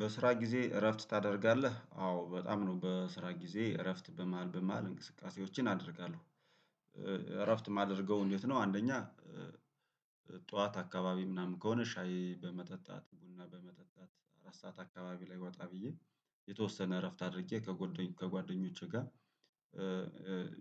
በስራ ጊዜ እረፍት ታደርጋለህ አዎ በጣም ነው በስራ ጊዜ እረፍት በመሃል በመሃል እንቅስቃሴዎችን አደርጋለሁ። እረፍት የማደርገው እንዴት ነው አንደኛ? ጠዋት አካባቢ ምናምን ከሆነ ሻይ በመጠጣት ቡና በመጠጣት አራት ሰዓት አካባቢ ላይ ወጣ ብዬ የተወሰነ እረፍት አድርጌ ከጓደኞቼ ጋር